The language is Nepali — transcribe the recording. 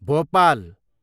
भोपाल